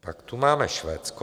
Pak tu máme Švédsko.